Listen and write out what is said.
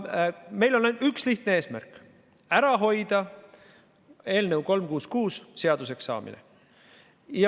Meil on ainult üks lihtne eesmärk: ära hoida eelnõu 366 seaduseks saamine.